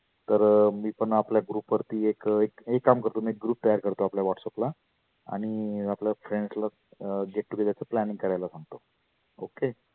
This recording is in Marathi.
तर मी पण आपल्या group वरती एक, एक काम करतो एक आपला group तयार करतो whatsapp ला. आणि आपल्या friends ला अं get together चा planning करायला सांगतो. ok